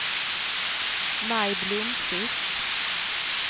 Maj Blomkvist